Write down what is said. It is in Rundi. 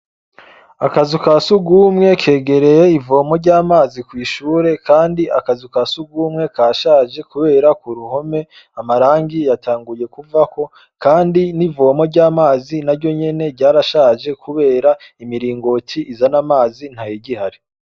Akazu kasugumwe kegereye ivomo rya mazi, kw'ishure Kandi akazu kasugumwe kashaje kubera kuruhome amarangi yatanguye kuvako kandi nivomo ryamazi naryonyene ryarashaje kubera imiringoti izana amazi ntayigihari.